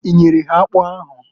I nyere ha akpụ ahụ?